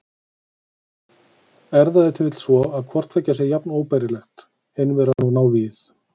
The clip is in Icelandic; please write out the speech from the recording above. Er það ef til vill svo, að hvort tveggja sé jafn óbærilegt, einveran og návígið?